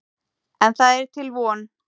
En það er til von.